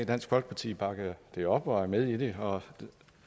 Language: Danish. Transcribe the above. dansk folkeparti bakker det op og er med i det og